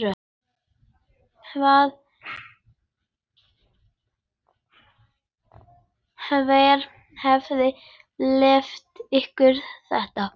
Hver hefur leyft ykkur þetta?